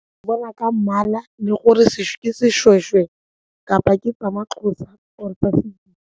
Ke bona ka mmala le gore ke seshweshwe kapa ke sa ma-Xhosa or tsa .